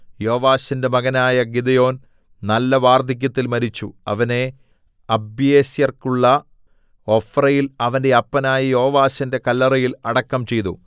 യോവാശിന്റെ മകനായ ഗിദെയോൻ നല്ല വാർദ്ധക്യത്തിൽ മരിച്ചു അവനെ അബീയേസ്രിയർക്കുള്ള ഒഫ്രയിൽ അവന്റെ അപ്പനായ യോവാശിന്റെ കല്ലറയിൽ അടക്കം ചെയ്തു